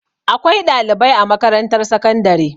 Akwai ɗalibai a makarantar sakandare.